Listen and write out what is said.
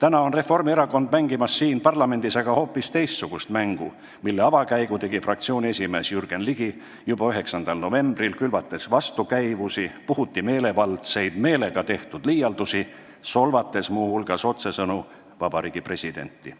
Aga siin parlamendis mängib Reformierakond hoopis teistsugust mängu, mille avakäigu tegi fraktsiooni esimees Jürgen Ligi juba 9. novembril, külvates vastukäivusi ja puhuti meelevaldseid meelega tehtud liialdusi, solvates muu hulgas otsesõnu vabariigi presidenti.